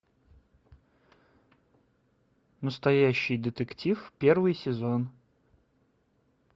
настоящий детектив первый сезон